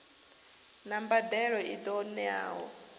na mbadelo i ṱo ḓeaho